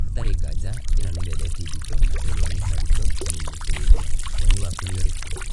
Hatarĩ nganja ĩno nĩ ndereti nditũ na ĩrĩa nĩ haritũ kũmĩinĩkĩrĩria, woni waku nĩ ũrĩkũ?